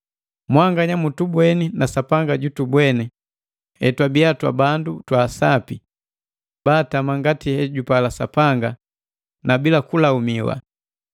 Mwanganya mutubweni na Sapanga jutubweni hetwabii twa bandu twa sapi, baatama ngati hejupala Sapanga na bila kulaumiwa.